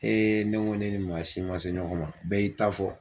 ne ko ko ne ni maa si man se ɲɔgɔn ma bɛɛ y'i ta fɔ.